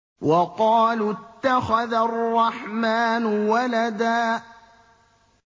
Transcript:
وَقَالُوا اتَّخَذَ الرَّحْمَٰنُ وَلَدًا